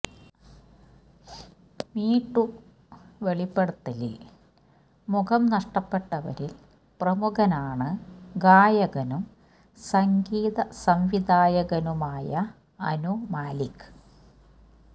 me too വെളിപ്പെടുത്തലിൽ മുഖം നഷ്ടപ്പെട്ടവരിൽ പ്രമുഖനാണ് ഗായകനും സംഗീത സംവിധായകനുമായ അനു മാലിക്